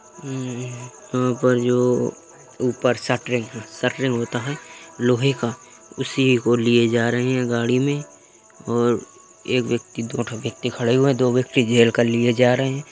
इनका जो ऊपर शटरिंग शटरिंग होता है लोहे का उसी को लिए जा रहे है गाड़ी मैं और एक व्यक्ति दो -दो व्यक्ति खड़े हुए हैं। दो व्यक्ति घेर कर लिए जा रहे हैं।